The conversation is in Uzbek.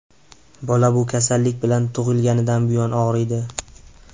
Bola bu kasallik bilan tug‘ilganidan buyon og‘riydi.